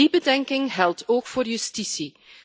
Die bedenking geldt ook voor justitie.